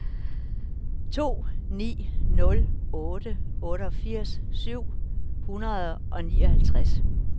to ni nul otte otteogfirs syv hundrede og nioghalvtreds